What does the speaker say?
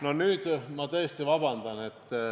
No nüüd ma tõesti vabandan.